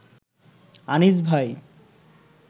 আনিস ভাই